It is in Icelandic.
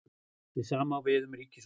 Hið sama á við um ríkisútgjöld.